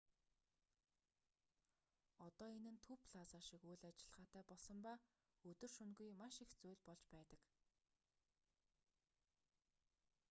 одоо энэ нь төв плаза шиг үйл ажиллагаатай болсон ба өдөр шөнөгүй маш их зүйл болж байдаг